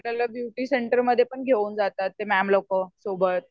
आपल्याला ब्युटी सेंटरमध्ये पण घेऊन जातात. ते मॅम लोकं सोबत.